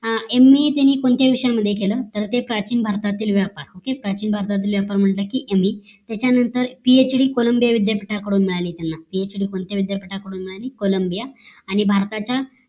MA त्यांनी कश्यातकेल कोणते विषयामध्ये केलं तर ते प्राचीन भारताचे व्यापार म्हंटल कि MB त्याच्या नंतर PhD कोलंबिया विद्यापीठातून मिळाली त्यांना कोणत्या कोलंबिया आणि भारतात